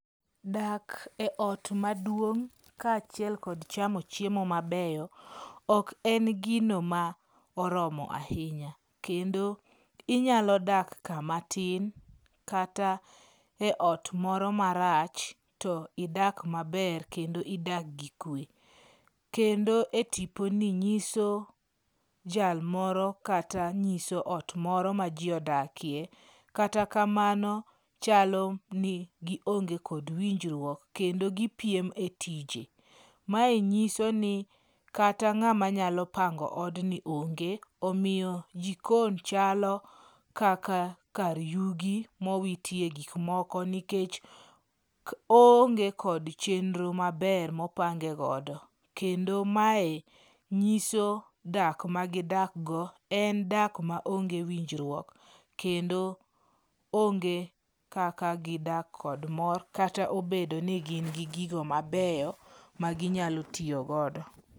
Dak eot maduong' kaachiel kod chamo mabeyo, ok en gino ma oromo ahinya. Kendo inyalo dak kama tin kata eot moro marach, to idak maber kendo idak gikwe. Kendo etiponi nyiso jal moro kata nyiso ot moro ma ji odakie. Kata kamano, chalo ni gionge kod winjruok kendo gipiem e tije. Mae nyisoni kata ng'ama nyalo pango odni onge, omiyo jikon chalo mana kaka kar yugi mowitye gik moko nikech oonge kod chenro maber mopange godo. Kendo mae nyiso dak magidak go, en dak maonge winjruok. Kendo onge kaka gidak kod mor kata obedo ni gin gi gigo mabeyo ma ginyalo tiyo godo.